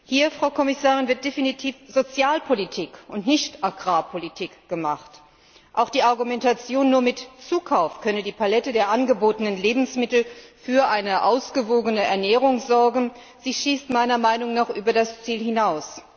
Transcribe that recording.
Hier, Frau Kommissarin, wird definitiv Sozialpolitik und nicht Agrarpolitik betrieben. Auch die Argumentation, nur mit Zukauf könne die Palette der angebotenen Lebensmittel für eine ausgewogene Ernährung sorgen, schießt meiner Meinung nach über das Ziel hinaus.